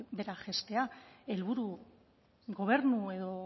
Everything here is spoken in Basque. behera jaistea helburu gobernu edo